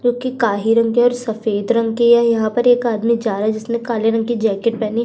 जोकि काही रंग की और सफेद रंग की है। यहाँ पर एक आदमी जा रहा है जिसने काले रंग की जैकेट पहनी --